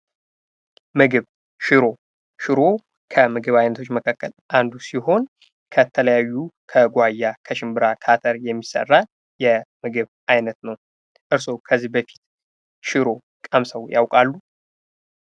ምግብ ሽሮ ሽሮ ከምግብ አይነቶች መካከል አንዱ ሲሆን ከተለያዩ ከጓያ ከሽምብራ ከአተር የሚሰራ የምግብ አይነት ነው። እርስዎ ከዚህ በፊት ሽሮ ቀምሰው ያውቃሉ?